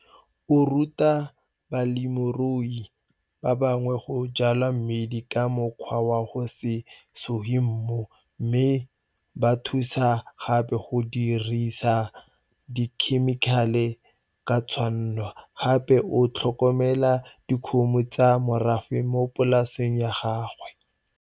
O ruta balemirui ba bangwe go jwala mmidi ka mokgwa wa go se suge mmu mme o ba thusa gape go dirisa dikhemikale ka tshwanno, gape o tlhokomela dikgomo tsa morafe mo polaseng ya gagwe.